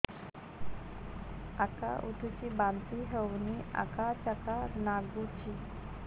ଉକା ଉଠୁଚି ବାନ୍ତି ହଉନି ଆକାଚାକା ନାଗୁଚି